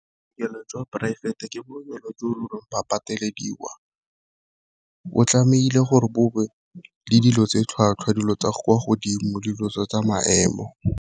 Bookelo jwa poraefete ke bookelo jo e ba patelediwa, bo tlamehile gore bo be le dilo tsa tlhwatlhwa dilo tsa kwa godimo dilo tseo tsa maemo.